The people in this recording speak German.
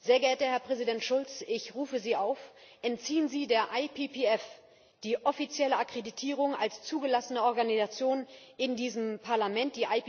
Sehr geehrter Herr Präsident Schulz, ich rufe Sie auf Entziehen Sie der IPPF die offizielle Akkreditierung als zugelassene Organisation in diesem Parlament.